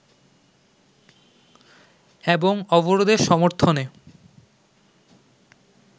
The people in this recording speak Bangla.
এবং অবরোধের সমর্থনে